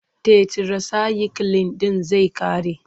Tetirasayikilin ɗin zai ƙare.